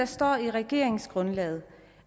står i regeringsgrundlaget